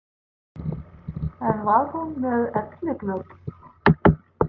En var hún með elliglöp?